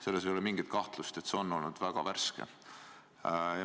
Selles ei ole mingit kahtlust, et see on olnud väga värske.